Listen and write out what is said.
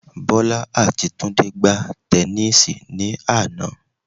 Bọ́lá àti Túndé gbá tẹnísíì ní àná